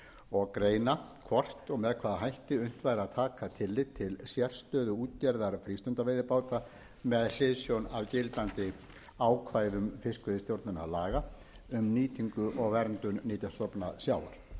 og greina hvort og með hvaða hætti unnt væri að taka tillit til sérstöðu útgerðar frístundaveiðibáta með hliðsjón af gildandi ákvæðum fiskveiðistjórnarlaga um nýtingu og verndun nytjastofna sjávar